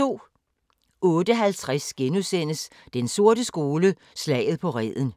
08:50: Den sorte skole: Slaget på Reden